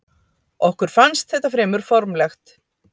Okkur fannst þetta fremur formlegt.